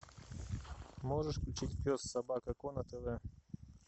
можешь включить пес собака ко на тв